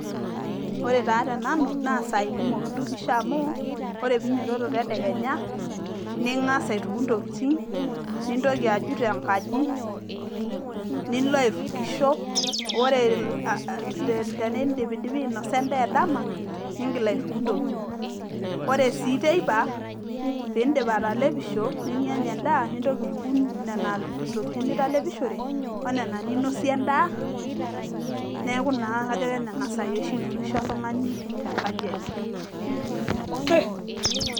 Ore taa tenanu naa isaai kumok intukisho amu ore pee inyiototo tedekenya ningas aituku intokitin nintoki ajut enkaji nilo aitukisho ore tenindipidipi ainosa endaa edama niingil aituku intokitin, ore sii teipa piindip atalepisho ninyanya endaa nintoki aituku nena tokitin nitalepishore o nena ninosie endaa neeku naa ajo kenena saai oshi itukisho oltung'ani tenkaji enye.